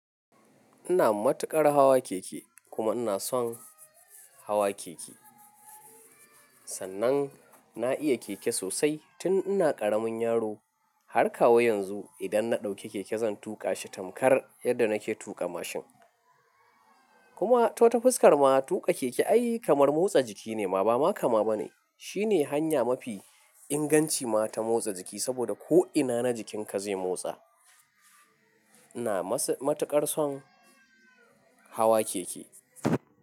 Ina matuƙar hawa keke, kuma ina son hawa keke. Sannan na iya keke sosai tun ina ƙaramin yaro, har kawo yanzu. Idan na ɗauki keke zan tuƙa shi tamkar yadda nake tuƙa mashin. Kuma, ta wata fuskar ma tuƙa keke ai kamar motsa jiki ne ma, ba ma kama ba ne. Shi ne hanya mafi inganci ma ta motsa jiki saboda ko'ina na jikinka zai motsa. Ina matuƙar son hawa keke.